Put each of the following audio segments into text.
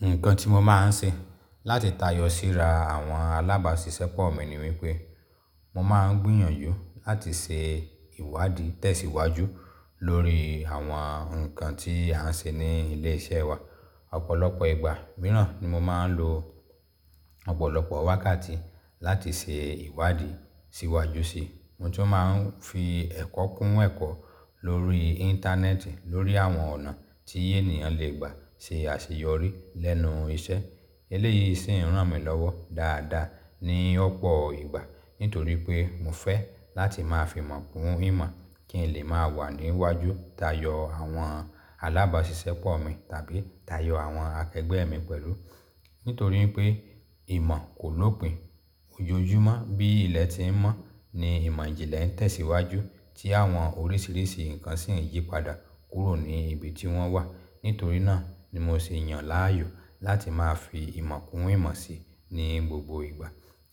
Nǹkan tí mo máa ń ṣe láti tayọ síra àwọn alábàásisẹ́pọ̀ mi ni wípé mo máa ń gbìyànjú láti ṣe ìwádìí tẹ̀síwájú lórí àwọn ǹkan tí a ń ṣe ní ilé iṣẹ́ wa. Ọ̀pọ̀lọpọ̀ ìgbà mìíràn ni mo máa ń lo ọ̀pọ̀lọpọ̀ wákàtí láti ṣe ìwádìí síwájú sí i. Mo tún máa ń fi ẹ̀kọ́ kún ẹ̀kọ́ lórí Íńtánẹ́ẹ̀tì lórí àwọn ọ̀nà tí ènìyàn lè gbà ṣe àṣeyọrí lẹ́nu iṣẹ́. Eléyìí sì ń ràn mí lọ́wọ́ dáadáa ní ọ̀pọ̀ ìgbà nítorí pé mo fẹ́ láti máa fi ìmọ̀ kún ìmọ̀ kí n lè máa wà níwájú tayọ àwọn alábàásisẹ́pọ̀ mi tàbí tayọ àwọn akẹgbẹ́ mi pẹ̀lú. Nítorí pé ìmọ̀ kò lópìn, ojoojúmọ́ bí ilẹ̀ ti ń mọ́ ni ìmọ̀ ìjìnlẹ̀ ń tẹ̀síwájú tí àwọn oríṣìíríṣìí ǹkan sì ń yípadà kúrò ní ibi tí wọ́n wà. Nítorí náà ni mo ṣe yàn láàyò láti máa fi ìmọ̀ kún ìmọ̀ síi ní gbogbo ìgbà.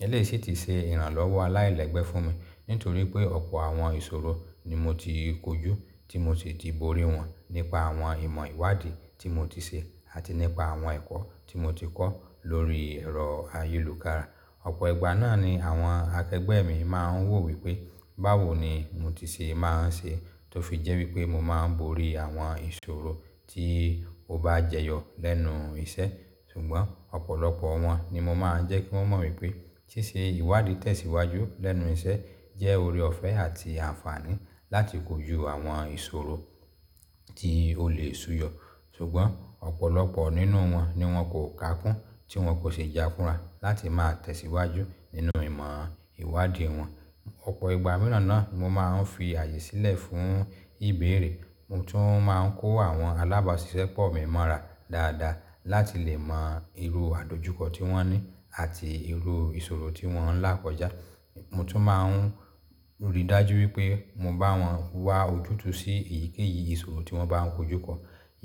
Eléyìí sì ti ṣe ìrànlọ́wọ́ aláìlẹ́gbẹ́ fún mi nítorí pé ọ̀pọ̀ àwọn ìṣòro ni mo ti kojú tí mo sì di borí wọn nípa àwọn ìmọ̀ ìwádìí tí mo ti ṣe àti nípa àwọn ẹ̀kọ́ tí mo ti kọ́ lórí ẹ̀rọ ayélùkára. Ọ̀pọ̀ ìgbà náà ni àwọn akẹgbẹ́ mi máa ń wò wípé báwo ni mo ti ṣe máa ń ṣe tó fi jẹ́ wípé mo máa ń borí àwọn ìṣòro tí ó bá jẹyọ lẹ́nu iṣẹ́. Ṣùgbọ́n ọ̀pọ̀lọpọ̀ wọn ni mo máa ń jẹ́ kí wọ́n mọ̀ wípé ṣíṣe ìwádìí tẹ̀síwájú lẹ́nu iṣẹ́ jẹ́ ore ọ̀fẹ́ àti àǹfààní láti kojú àwọn ìṣòro tí ó lè súyọ. Ṣùgbọ́n ọ̀pọ̀lọpọ̀ nínú wọn ni wọ́n kò ká kún tí wọ́n kò ṣi jáfúnra láti máa tẹ̀síwájú nínú ìmọ̀ ìwádìí wọn. Ọ̀pọ̀ ìgbà mìíràn náà ni mo máa ń fi àyè sílẹ̀ fún ìbéèrè. Mo tún máa ń kó àwọn alábàásisẹ́pọ̀ mi mọ̀ra dáadáa láti lè mọ irú àdojúkọ tí wọ́n ní àti irú ìṣòro tí wọ́n ń lákọ̀já. Mo tún máa ń ríi dájú wípé mo bá wọn wá ojútùú sí èyíkéyìí ìṣòro tí wọ́n bá ń kojú kọ.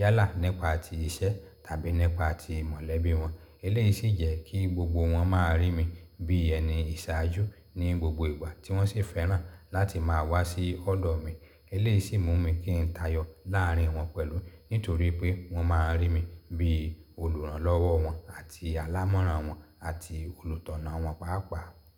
Yálà, nipa ti iṣẹ́ tàbí nipa ti ìmọ̀lẹ́bí wọn. Eléyìí sì jẹ́ kí gbogbo wọn máa rí mi bí ẹni ìṣàájú ní gbogbo ìgbà tí wọ́n sì fẹ́ràn láti máa wá sí ọ́dọ̀ mi. Eléyìí sì mú mi kí ń tayọ láàárín wọn pẹ̀lú nítorí pé wọ́n máa ń rí mi bí olùrànlọ́wọ́ wọn àti alámọ̀rán wọn àti olùtọ̀nà wọn pàápàá.